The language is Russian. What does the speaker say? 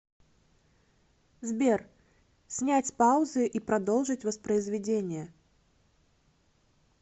сбер снять с паузы и продолжить воспроизведение